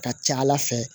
Ka ca ala fɛ